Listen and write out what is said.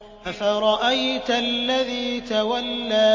أَفَرَأَيْتَ الَّذِي تَوَلَّىٰ